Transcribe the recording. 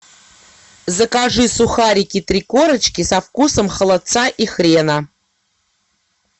закажи сухарики три корочки со вкусом холодца и хрена